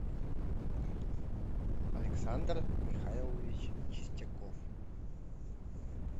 александр михайлович чистяков